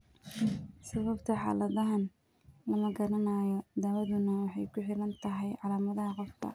Sababta xaaladdan lama garanayo, daawaduna waxay ku xidhan tahay calaamadaha qofka.